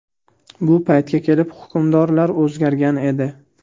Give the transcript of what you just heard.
Bu paytga kelib hukmdorlar o‘zgargan edi.